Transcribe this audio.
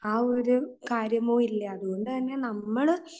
ആ ഒരു കാര്യമോ ഇല്ല അതുകൊണ്ടുതന്നെ നമ്മൾ